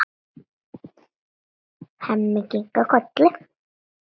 Hemmi kinkar kolli.